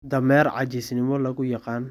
Dameer caajisnimo lagu yaqaan.